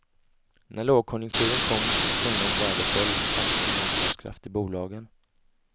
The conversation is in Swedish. När lågkonjunkturen kom och kronans värde föll fanns ingen motståndskraft i bolagen.